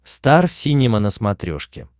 стар синема на смотрешке